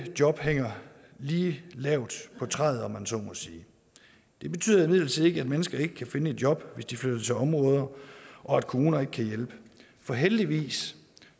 job hænger lige lavt på træet om man så må sige det betyder imidlertid ikke at mennesker ikke kan finde et job hvis de flytter til områder og at kommuner ikke kan hjælpe for heldigvis